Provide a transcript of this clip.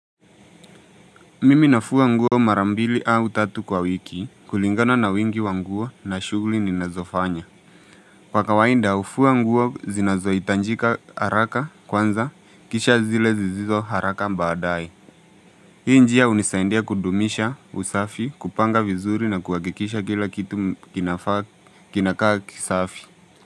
Mimi nafua nguo mara mbili au tatu kwa wiki kulingana na wingi wa nguo na shugli ninazofanya. Kwa kawainda ufua nguo zinazoitanjika haraka kwanza kisha zile zizizo haraka baadai. Hii njia unisaindia kudumisha usafi, kupanga vizuri na kuhakikisha kila kitu kinakaa kisafi.